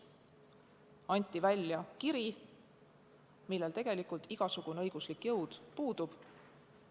Anti välja kiri, millel tegelikult igasugune õiguslik jõud puudus.